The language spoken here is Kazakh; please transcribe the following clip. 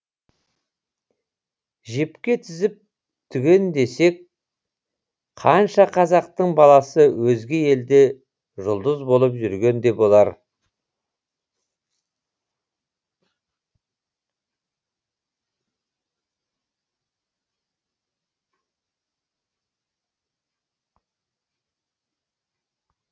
жіпке тізіп түгендесек қанша қазақтың баласы өзге елде жұлдыз болып жүрген де болар